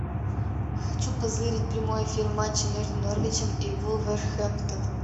хочу позырить прямой эфир матча между норвичем и вулверхэмптоном